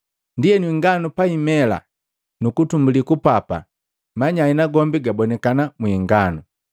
Ndienu inganu paimela nukutumbuli kupapa, manyai nagombi gabonikana mwi inganu.